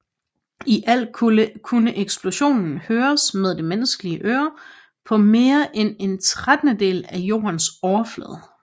I alt kunne eksplosionen høres med det menneskelige øre på mere end en trettendedel af Jordens overflade